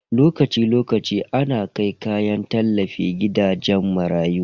Lokaci lokaci ana kai kayan tallafi gidajen marayu.